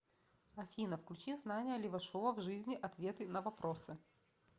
афина включи знания левашова в жизни ответы на вопросы